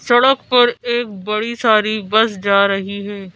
सड़क पर एक बड़ी सारी बस जा रही है।